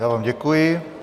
Já vám děkuji.